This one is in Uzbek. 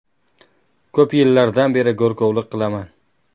Ko‘p yillardan beri go‘rkovlik qilaman.